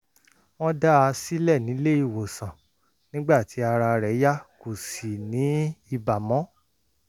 wọ́n dá a sílẹ̀ nílé-ìwòsàn nígbà tí ara rẹ̀ yá kò sì ní ibà mọ́